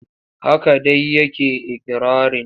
Haka dai yake ikirarin.